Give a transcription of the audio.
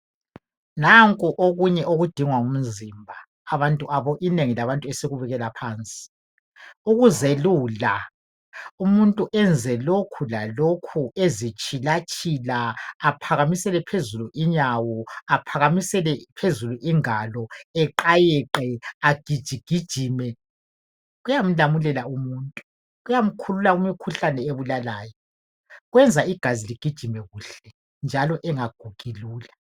Nanku okunye okudingwa ngumzimba. Abantu, inengi labantu esikubukela phansi. Ukuzelula, umuntu ennze lokhu lalokhu ezitshilatshila aphakamisele phezulu inyawo, aphakamisele phezulu ingalo, eqayeqe, agijigijime, kuyamlamulela umuntu. Kuyamkhulula kumkhuhlane ebulalayo, kwenza igazi ligijime kuhle njalo engagugi lula.